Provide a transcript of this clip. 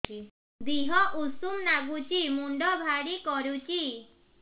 ଦିହ ଉଷୁମ ନାଗୁଚି ମୁଣ୍ଡ ଭାରି କରୁଚି